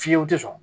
Fiyewu tɛ sɔn